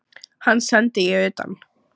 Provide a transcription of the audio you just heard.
Hann sendi ég utan.